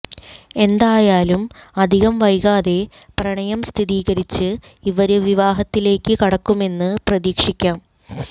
എന്തായാലും അധികം വൈകാതെ പ്രണയംസ്ഥിരീകരിച്ച് ഇവര് വിവാഹത്തിലേയ്ക്ക് കടക്കുമെന്ന് പ്രതീക്ഷിയ്ക്കാം